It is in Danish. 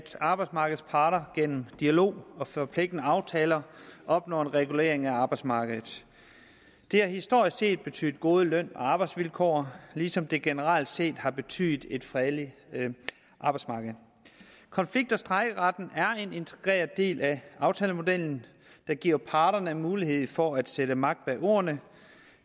arbejdsmarkedets parter gennem dialog og forpligtende aftaler opnår en regulering af arbejdsmarkedet det har historisk set betydet gode løn og arbejdsvilkår ligesom det generelt set har betydet et fredeligt arbejdsmarked konflikt og strejkeretten er en integreret del af aftalemodellen der giver parterne mulighed for sætte magt bag ordene